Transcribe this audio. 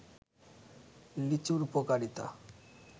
লিচুর উপকারিতা